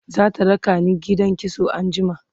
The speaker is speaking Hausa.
zata rakani gidan kitso anjima